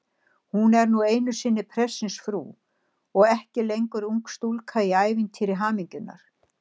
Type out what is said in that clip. Hún er nú einu sinni prestsins frú og ekki lengur ung stúlka í ævintýri hamingjunnar.